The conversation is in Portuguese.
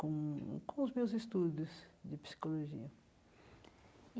com com os meus estudos de psicologia.